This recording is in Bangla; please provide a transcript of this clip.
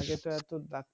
আগে তো এতো গাছ